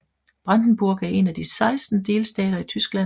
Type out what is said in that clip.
Brandenburg er en af de 16 delstater i Tyskland